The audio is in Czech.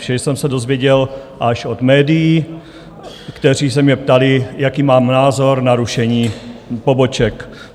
Vše jsem se dověděl až od médií, která se mě ptala, jaký mám názor na rušení poboček.